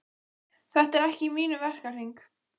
Þetta er ekki í mínum verkahring.